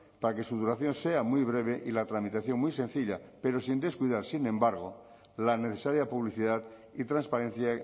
para que su duración sea muy breve y la tramitación muy sencilla pero sin descuidar sin embargo la necesaria publicidad y transparencia